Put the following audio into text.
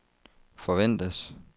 forventes